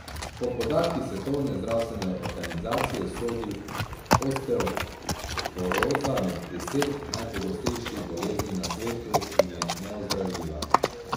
Po podatkih svetovne zdravstvene organizacije sodi osteoporoza med deset najpogostejših bolezni na svetu in je neozdravljiva.